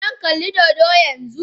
Zan kalli dodo yanzu